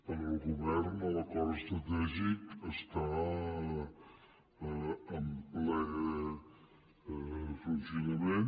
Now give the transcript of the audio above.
pel govern l’acord estratègic està en ple funcionament